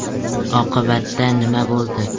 Oqibatda nima bo‘ldi?